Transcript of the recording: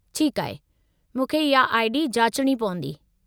ठीकु आहे, मूंखे इहा आई.डी. जाचणी पवंदी।